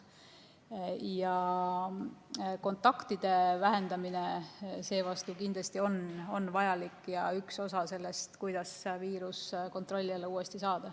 Kontaktide vähendamine seevastu kindlasti on vajalik ja üks osa sellest, kuidas viirus uuesti kontrolli alla saada.